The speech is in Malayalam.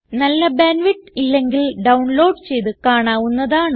നല്ല ബാൻഡ് വിഡ്ത്ത് ഇല്ലെങ്കിൽ ഡൌൺലോഡ് ചെയ്ത് കാണാവുന്നതാണ്